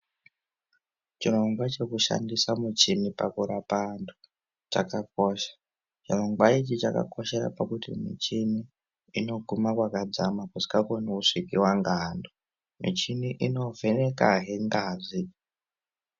Chirongwa chekushandisa muchini pakurapa antu chakakosha. Chirongwa ichi chakakoshera pakuti muchini inoguma kwakadzama kusingakoni kugumiwa ngeantu. Michini inovhenekazve ngazi.